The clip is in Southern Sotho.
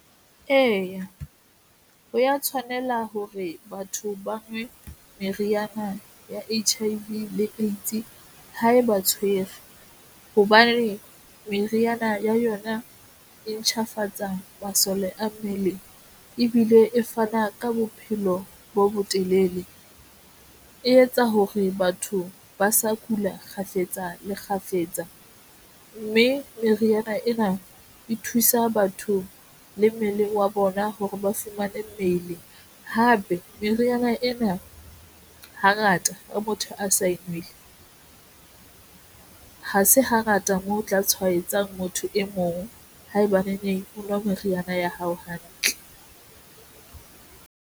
Eya, ho ya tshwanela hore batho ba nwe meriana ya H_I _V AIDS ha eba tshwere hobane meriana ya yona e ntjhafatsa masole a mmele ebile e fana ka bophelo bo botelele. E etsa hore batho ba sa kula kgafetsa le kgafetsa mme meriana ena e thusa batho le mmeleng wa bona hore ba fumane mmele hape meriana ena hangata ha motho a sa enwele hase hangata a tla tshwaetsa motho e mong haebaneng o nwa meriana ya hao hantle.